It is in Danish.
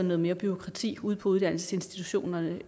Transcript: noget mere bureaukrati ude på uddannelsesinstitutionerne